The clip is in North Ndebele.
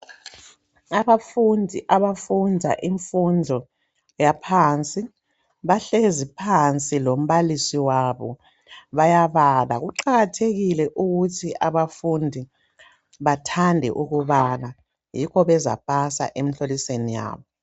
Abafundi abafunda imfundo yaphansi. Bahlezi phansi, lombalisi wabo. Bayabala. Kuqakathekile ukuthi abafundi bathande ukubala. Yikho bezapasa emihlolisweni yabo.